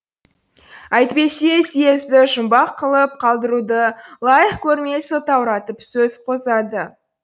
әйтпесе сиезді жұмбақ қылып қалдыруды лайық көрмей сылтауратып сөз қозғады